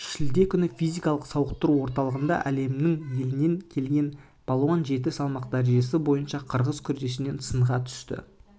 шілде күні физикалық-сауықтыру орталығында әлемнің елінен келген балуан жеті салмақ дәрежесі бойынша қырғыз күресінен сынға түсті